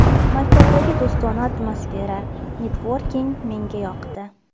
Maktabdagi do‘stona atmosfera, networking menga yoqdi.